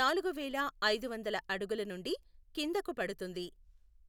నాలుగువేల ఐదువందల అడుగుల నుండి కిందకు పడుతుంది